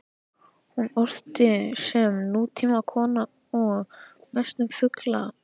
Hún orti sem nútímakona og mest um fugla.